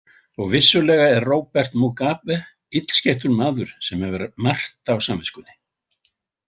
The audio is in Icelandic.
Og vissulega er Robert Mugabe illskeyttur maður sem hefur margt á samviskunni.